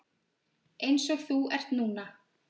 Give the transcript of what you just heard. Eins og þú ert núna.